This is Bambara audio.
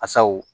Asaw